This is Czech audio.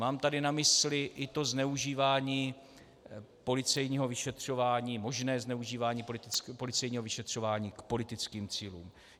Mám tady na mysli i to zneužívání policejního vyšetřování, možné zneužívání policejního vyšetřování k politickým cílům.